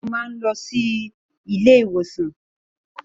Segun ma lọ sí ilé ìwòsan.